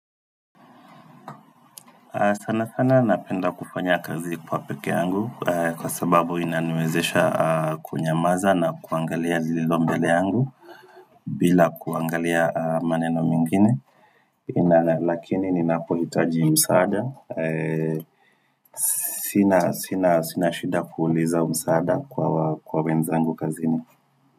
Sana sana napenda kufanya kazi kwa pekee yangu kwa sababu inaniezesha kunyamaza na kuangalia zilizo mbele yangu bila kuangalia maneno mengine Lakini ninapohitaji msaada, sina shida kuuliza msaada kwa wenzangu kazini.